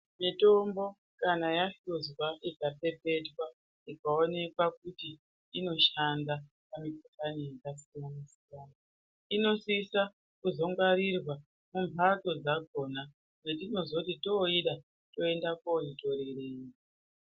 Mitombo kana yahluzwa ikapepetwa ikaonekwa kuti inoshanda inosisa kuzongwarirwa mumhatso dzakona dzatinozoti toida toenda kunoitorerawo.